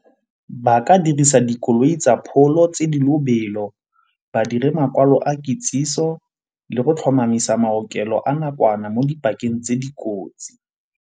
Baka dirisa dikoloi tsa pholo tse di lobelo, badire makwalo a kitsiso le go tlhomamisa maokelo a nakwana mo dipakeng tse dikotsi.